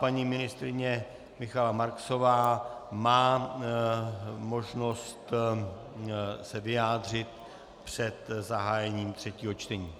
Paní ministryně Michaela Marksová má možnost se vyjádřit před zahájením třetího čtení.